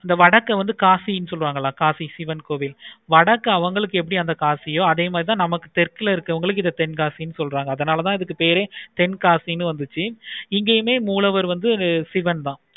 வடக்க வந்து காசினி சொல்லுவாங்க காசி சிவன் கோவில் வடக்க அவங்களுக்கு எப்படி காசியோ நமக்கு தெற்குல இருக்கவங்களுக்கு இத தென்காசி சொல்றாங்க அதனால தான் இதுக்கு பேரு தென்காசினு வந்துச்சி. இங்கையுமே மூலவர் வந்து சிவன் தான்